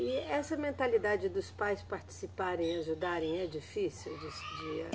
E essa mentalidade dos pais participarem, ajudarem, é difícil de se, de a